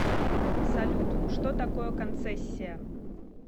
салют что такое концессия